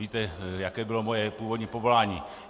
Víte, jaké bylo moje původní povolání.